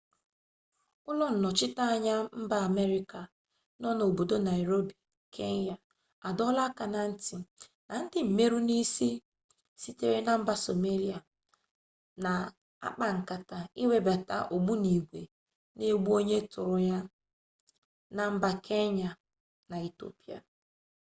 ulo-nnochita-anya mba ameriaca no na obodo nairobi kenya adoola aka-na-nti na ndi-mmeru-nisi sitere na mba somalia na akpa-nkata iwebata ogbunigwe na-egbu-onye-turu-ya na mba kenya na ethiopia